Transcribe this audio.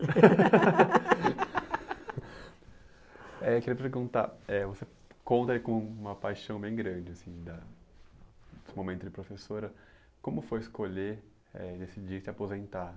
Eh eu queria perguntar, eh você conta com uma paixão bem grande, assim da desse momento de professora, como foi escolher, eh decidir se aposentar?